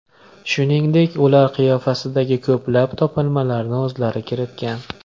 Shuningdek, ular qiyofasidagi ko‘plab topilmalarni o‘zlari kiritgan.